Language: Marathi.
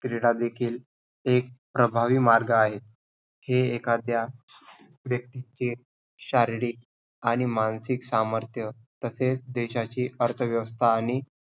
क्रीडा देखील एक प्रभावी मार्ग आहे की हे एखाद्या व्यक्तीचे शारीरिक आणि मानसिक सामर्थ्य तसेच देशाची अर्थव्यवस्था आणि